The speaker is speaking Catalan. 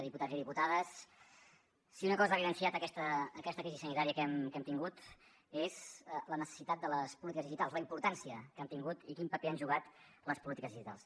diputats i diputades si una cosa ha evidenciat aquesta crisi sanitària que hem tingut és la necessitat de les polítiques digitals la importància que han tingut i quin paper han jugat les polítiques digitals